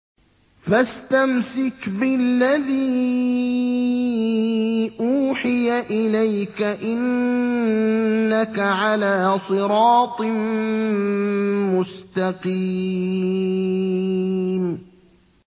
فَاسْتَمْسِكْ بِالَّذِي أُوحِيَ إِلَيْكَ ۖ إِنَّكَ عَلَىٰ صِرَاطٍ مُّسْتَقِيمٍ